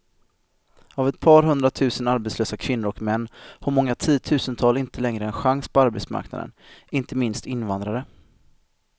Av ett par hundratusen arbetslösa kvinnor och män har många tiotusental inte längre en chans på arbetsmarknaden, inte minst invandrare.